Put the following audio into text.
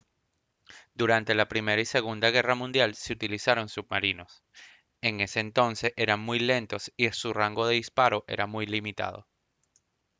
durante la primera y la segunda guerra mundial se utilizaron submarinos en ese entonces eran muy lentos y su rango de disparo muy limitado